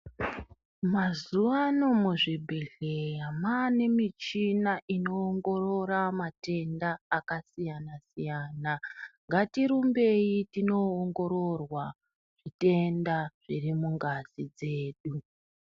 Mazuwano muzvibhdhleya mwane michina inoongorora matenda akasiyana siyana ngatirumbei tinoongororwa zvitenda zviri mungazi dzedu